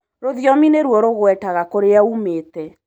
Rũthiomi nĩruo rugwetaga kũrĩa wũmĩte.